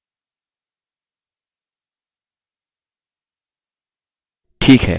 ठीक है हमने books issued table बना दिया है